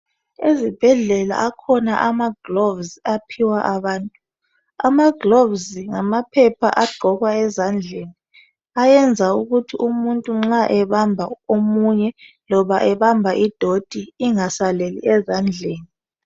Ezibhedlela akhona amagloves aphiwa abantu. Amagloves ngamaphepha agqokwa ezandleni ayenza ukuthi nxa umuntu ebamba omunye loba ebamba idoti ingasaleli ezandleni .